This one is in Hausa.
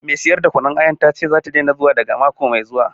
Mai siyar da kunun ayar ta ce za ta bar sayar wa daga mako mai zuwa